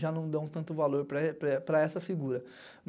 já não dão tanto valor para essa figura.